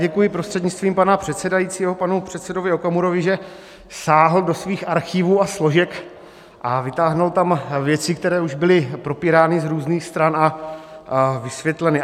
Děkuji prostřednictvím pana předsedajícího panu předsedovi Okamurovi, že sáhl do svých archivů a složek a vytáhl tam věci, které už byly propírány z různých stran a vysvětleny.